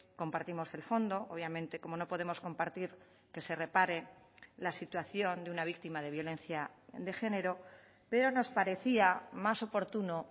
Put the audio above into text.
compartimos el fondo obviamente cómo no podemos compartir que se repare la situación de una víctima de violencia de género pero nos parecía más oportuno